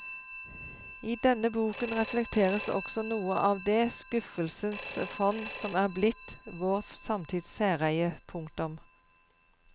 I denne boken reflekteres også noe av det skuffelsens fond som er blitt vår samtids særeie. punktum